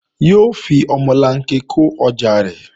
Yóò fi omolanke kó ọjà rẹ̀